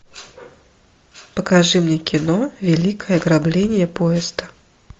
покажи мне кино великое ограбление поезда